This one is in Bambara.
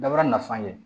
Dabara nafan ye